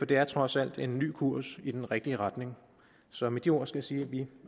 det er trods alt en ny kurs i den rigtige retning så med de ord skal jeg sige at vi